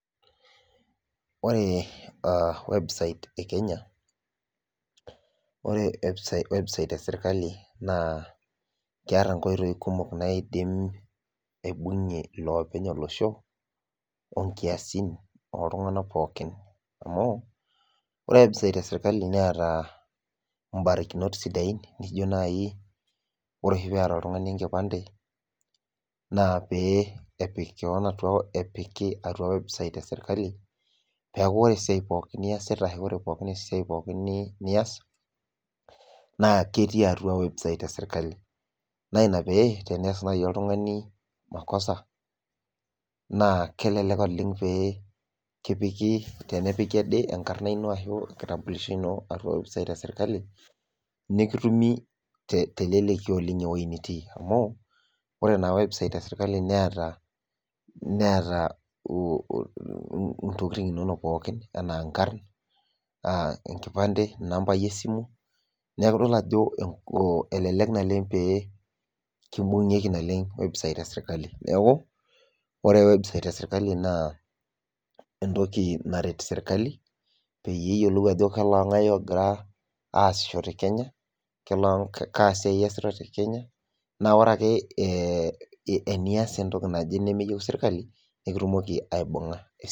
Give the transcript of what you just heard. Ore website e kenya, ore website esirkali naa keeta nkoitoi kumok, naidim aibung'ie iloopeny olosho, onkiasin ooltunganak pookin amu, ore website esirkali neeta barakinot naijo naaji, ore oshi peeta oltungani enkipande naa pee epik kewon atua, atua website esirkali peeku, ore esiai pookin niasita. ore esiai pookin nias, naa ketii atua website esirkali. naa Ina pee tenees naaji oltungani makosa. naa kelelek oleng pee kipiki, as enkarna ino ashu enkitampuljsho Ino website esirkali nikitumk teleleki oleng ewueji nitii amu keeta ntokitin inonok pookin, enkipande inkarn, inambai esimu. neeku idol ajo elelek naleng pee kibungieki website esirkali. neekh ore website esirkali naa entoki naret sirkali peyie ajo koloo ng'ae oogira aasishore kenya. koloongae kenya.na ore ake enias entoki naje nemeyieu sirkali nimitumoki aibung'a